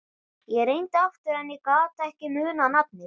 Ég reyndi aftur en ég gat ekki munað nafnið.